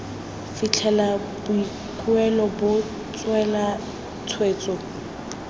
fitlhela boikuelo bo tseelwa tshwetso